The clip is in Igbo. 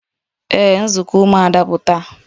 Ee, nzukọ umuada bụ taa